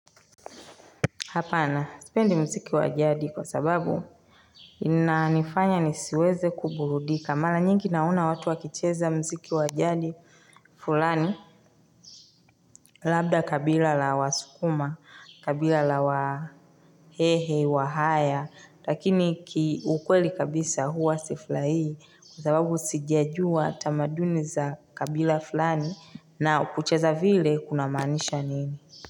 Hapana. Sipendi mziki wa jadi kwa sababu inanifanya nisiweze kuburudika. Mara nyingi naona watu wakicheza mziki wa jadi fulani. Labda kabila la wasukuma, kabila la wahehe, wahaya. Lakini kiukweli kabisa huwa siflai kwa sababu sijajua tamaduni za kabila fulani na kucheza vile kunamaanisha nini.